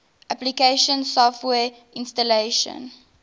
application software installation